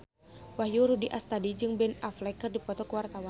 Wahyu Rudi Astadi jeung Ben Affleck keur dipoto ku wartawan